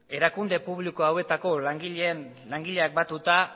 erakunde publiko hauetako langileak batuta